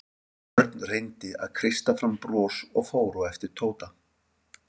Örn reyndi að kreista fram bros og fór á eftir Tóta.